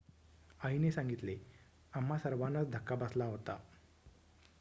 "आईने सांगितले "आम्हा सर्वांनाच धक्का बसला होता.""